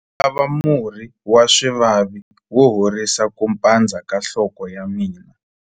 ndzi lava murhi wa swivavi wo horisa ku pandza ka nhloko ya mina